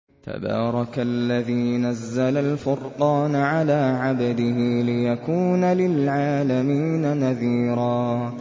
تَبَارَكَ الَّذِي نَزَّلَ الْفُرْقَانَ عَلَىٰ عَبْدِهِ لِيَكُونَ لِلْعَالَمِينَ نَذِيرًا